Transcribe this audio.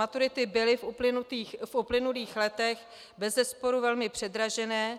Maturity byly v uplynulých letech bezesporu velmi předražené